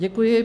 Děkuji.